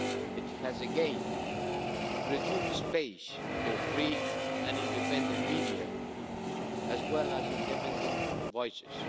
It has again reduced the space for free and independent media, as well as independent voices.